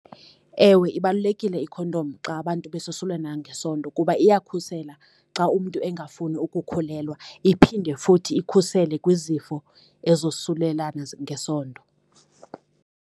Ewe ibalulekile ikhondom xa abantu besosulana ngesondo kuba iyakukhusela xa umntu engafuni ukukhulelwa, iphinde futhi ikhusele kwizifo ezosulelana ngesondo.